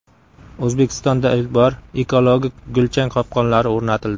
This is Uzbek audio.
O‘zbekistonda ilk bor ekologik gulchang qopqonlari o‘rnatildi.